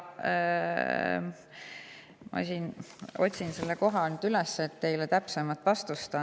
Ma otsin selle koha üles, et teile täpsem vastus anda.